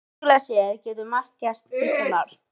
Sögulega séð getur margt gerst Kristján Már?